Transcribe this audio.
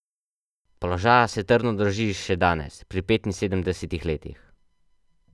Položaja se trdno drži še danes, pri petinsedemdesetih letih.